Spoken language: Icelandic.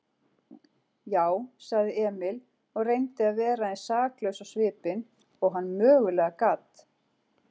Já, sagði Emil og reyndi að vera eins saklaus á svipinn og hann mögulega gat.